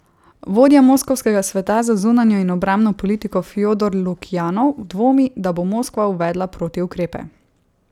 Vodja moskovskega Sveta za zunanjo in obrambno politiko Fjodor Lukjanov dvomi, da bo Moskva uvedla protiukrepe.